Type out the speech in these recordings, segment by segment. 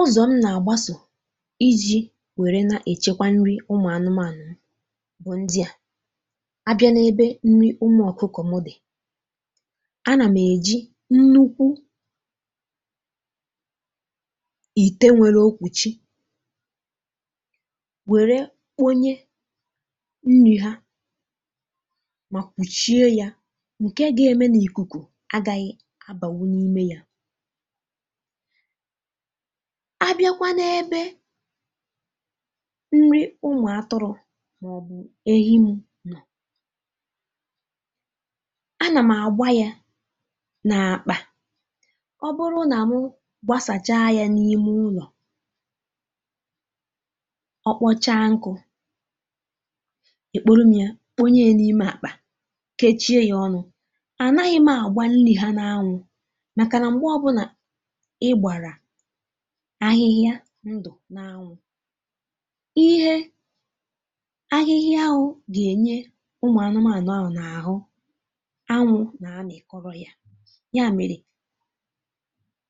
Ụzọ m na-agbaso iji were echekwa nri ụmụ anụmanụ m bụ ndị a. A bịa n'ebe nri ụmụ ọkụkọ mụ dị, a na m eji nnukwu ité nwere okwuchi were kponye nri ha nke ga-eme na ikuku agaghị abanwu n'ime ya. A bịakwa n'ebe nri ụmụ atụrụ maọbụ ehi m nọ, a na m agbá ya n'akpa. Ọ bụrụ na mụ gbasachaa ya n'ime ụlọ, ọ kpọchaa nkụ ekporo m ya kponyee n'ime akpa kechie ya ọnụ. A naghị m agba nri ha n'anwụ makana mgbe ọbụla ị gbara ahịhịa ndụ n'anwụ, ihe ahịhịa ahụ ga-enye ụmụ anụmanụ ahụ n'ahụ anwụ na-amịkọrọ ya. Ya mere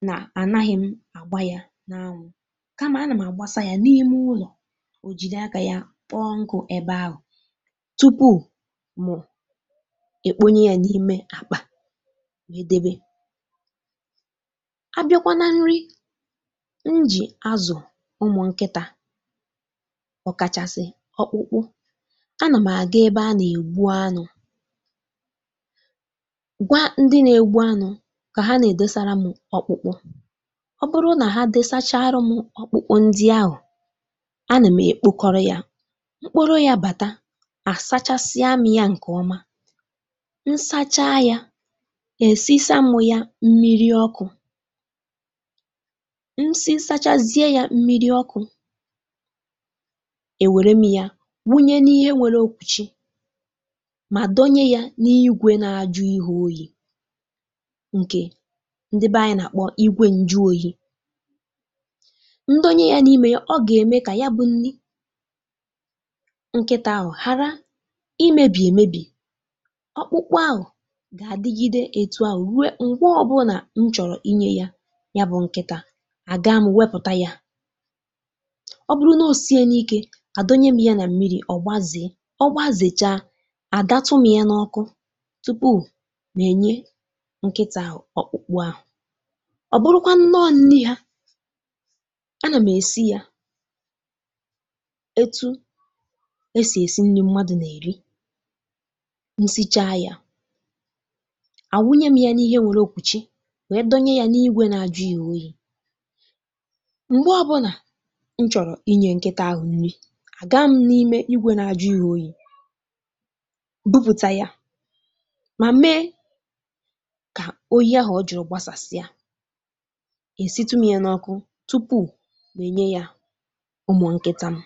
na anaghị m agba ya n'anwụ kama a nụm agbasa ya n'ime ụlọ o jiri aka ya kpọọ nkụ ebe ahụ tupu mụ ekponye ya n'ime akpa wee debe. A bịakwa na nri m ji azụ ụmụ nkịta ọ kachasị ọkpụkpụ, a na m aga ebe a na-egbu anụ, gwa ndị na-egbu anụ ka ha na-edosara m ọkpụkpụ. Ọ bụrụ na ha desachaara m ọkpụkpụ ahụ, a na m ekpokọrọ ya. M kporo ya bata, a sachasịa mị ya nke ọma. M sachaa ya, esisa m ya mmiri ọkụ. M sisachazie ya mmiri ọkụ, e were m ya wụnye ya n'ihe nwere okwuchi ma dọ́nye ya n'ígwé na-ajụ ihe oyi nke ndị be anyị na-akpọ igwe njụoyi. M dọnye ya n'ime ya ọ ga-eme ka ya bụ nni nkịta ahụ ghara imebi emebi. Ọkpụkpụ ahụ ga-adịgide etu ahụ rue mgbe ọbụla m chọrọ inye yabụ nkịta, a gaa m wepụta ya. Ọ bụrụ na osiela ike, a dọnye m ya n mmiri ọ gbazee. Ọ gbazechaa, a datụ m ya n'ọkụ tupu mụ enye nkịta ahụ ọkpụkpụ ahụ. Ọ bụrụkwanụ nọọ nni ha, a na m esi ya etu e si esi nri mmadụ na-eri. M sichaa ya, a wụnye m ya n'ihe nwere okwuchi wee dọnye ya n'ígwé na-ajụ ya oyi. Mgbe ọbụla m chọrọ inye nkịta ahụ nri, a gaa m n'ime igwe na-ajụ ya oyi, bupụta ya ma mee ka oyi ahụ ọ jụrụ gbsasịa, e sitụ m ya n'ọkụ tupu mụ enye ya ụmụ nkịta m.